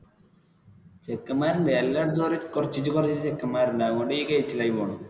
ചെക്കെന്മാരുണ്ട് എല്ലാടത്തും കുറചിച്ചേ കുറചിച്ചേ ചെക്കെന്മാരുണ്ട് അതുകൊണ്ട് നീ ആയി പോണ്.